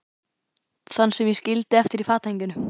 Þann sem ég skildi eftir í fatahenginu.